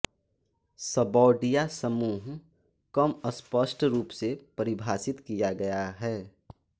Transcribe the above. सबौडिया समूह कम स्पष्ट रूप से परिभाषित किया गया है